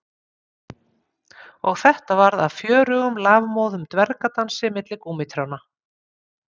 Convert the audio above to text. Og þetta varð að fjörugum lafmóðum dvergadansi milli gúmmítrjánna